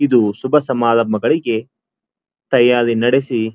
ಇದು ಶುಭ ಸಮಾರಂಭಗಳಿಗೆ ತಯ್ಯಾರಿ ನಡೆಸಿ --